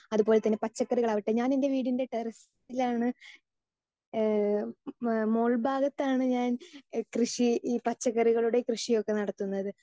speaker 2 അതുപോലെ തന്നെ പച്ചക്കറികൾ ആവട്ടെ ഞാൻ എൻ്റെ വീടിൻ്റെ ടെറസിലാണ് ഈഹ് മോൾഭാഗത്ത് ആണ് ഞാൻ കൃഷി ഈ പച്ചക്കറികളുടെ കൃഷി ഒക്കെ നടത്തുന്നത്